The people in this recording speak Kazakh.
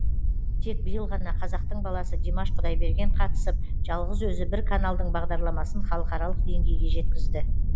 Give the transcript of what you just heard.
тек биыл ғана қазақтың баласы димаш құдайберген қатысып жалғыз өзі бір каналдың бағдарламасын халықаралық деңгейге жеткізді